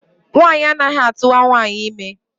Nwaanyị anaghị atụwa nwaanyị ime.